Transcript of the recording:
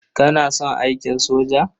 Kana son aikin soja?